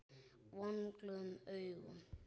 Vonglöð augun.